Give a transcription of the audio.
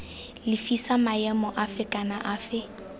lefisa maemo afe kana afe